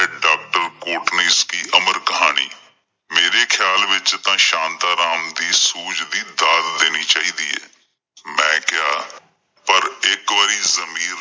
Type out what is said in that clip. doctor Kotnis ਕੀ ਅਮਰ ਕਹਾਣੀ, ਮੇਰੇ ਖਿਆਲ ਵਿੱਚ ਤਾਂ ਸ਼ਾਂਤਾਂ ਰਾਮ ਦੀ ਸੂਝ ਦੀ ਦਾਤ ਦੇਣੀ ਚਾਹੀਦੀ ਏ। ਮੈਂ ਕਿਹਾ ਪਰ ਇੱਕ ਵਾਰੀ ਜ਼ਮੀਰ